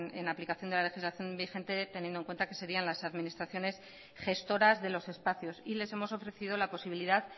en aplicación de la legislación vigente teniendo en cuenta que serían las administraciones gestoras de los espacios y les hemos ofrecido la posibilidad